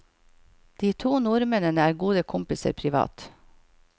De to nordmennene er gode kompiser privat.